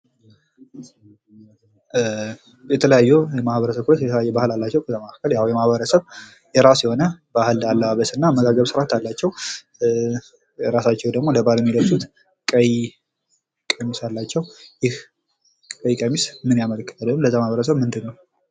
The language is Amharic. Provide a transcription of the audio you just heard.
የፀጉር እንክብካቤ ጤናማና አንፀባራቂ ፀጉር እንዲኖረን የሚረዱ የተለያዩ ምርቶችንና ዘዴዎችን ያካትታል።